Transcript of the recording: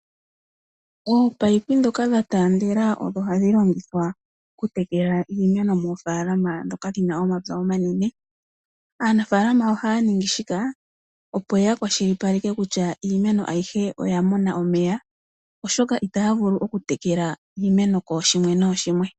Ominino dhoka dhatandela odho hadhi longithwa okutekela iimeno moofaalama dhoka dhina omapy omanene, aanafaalama ohaya ningi shika opo yakwashili paleke kutya iimeno ayihe oyamona omeya oshoka itaya vulu okutekela iimeno koshimwe noshimwe.